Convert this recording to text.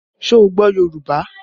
Ṣé o gbọ́ Yorùbá?